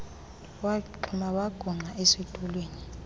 waxhuma wagungqa esitulweni